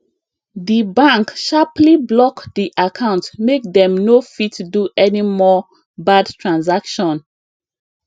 di bank sharply block di account make dem no fit do any more bad transaction